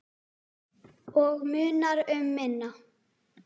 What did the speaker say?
Og munar um minna.